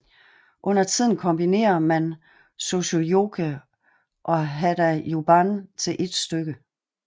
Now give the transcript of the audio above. Undertiden kombinerer man sosuyoke og hadajuban til ét stykke